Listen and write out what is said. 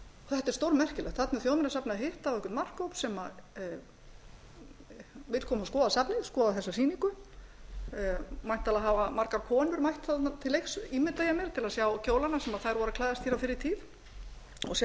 þetta er stórmerkilegt þarna er þjóðminjasafnið að hitta á einhvern markhóp sem vill koma og skoða safnið skoða þessa sýningu væntanlega hafa margar konur mætt þarna til leiks ímynda ég mér til að sjá kjólana sem þær voru að klæðast hér fyrr á tíð og sjá